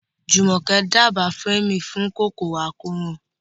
Jumoke dábàá Fleming fún kòkòrò àkóràn.